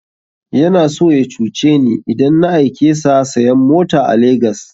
Yana so ya cuce ni idan na aike sa sayan mota a Legas